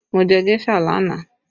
Mo jẹ géṣà lánàá